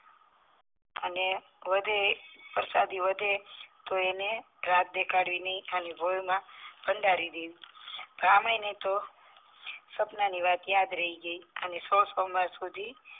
અને વધે પ્રસાદી વધે તો અને રાત્રે કાઢીને ખાલી ગોળમાં ભંડારી દેવી બ્રાહ્મણીને તો સપનાની વાત યાદ રહી ગઈ અને સોળ સોમવાર સુધી